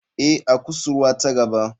Ee, a kusurwa ta gaba.